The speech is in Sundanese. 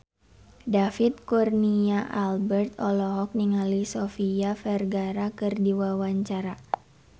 David Kurnia Albert olohok ningali Sofia Vergara keur diwawancara